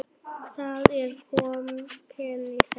Það er kómíkin í þessu.